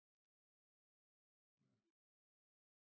Ja